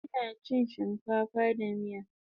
Ina chin shinkafa da miya